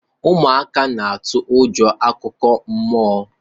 ụmụaka n'atụ egwu akụkọ mmụọ